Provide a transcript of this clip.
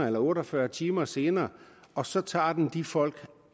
eller otte og fyrre timer senere og så tager den de folk